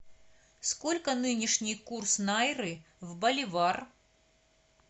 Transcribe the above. сколько нынешний курс найры в боливар